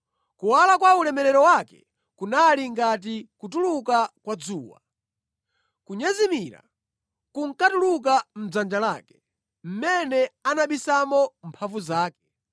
Kuwala kwa ulemerero wake kunali ngati kutuluka kwa dzuwa; kunyezimira kunkatuluka mʼdzanja lake, mʼmene anabisamo mphamvu zake.